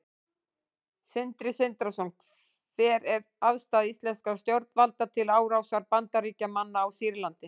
Sindri Sindrason: Hver er afstaða íslenskra stjórnvalda til árásar Bandaríkjamanna á Sýrland?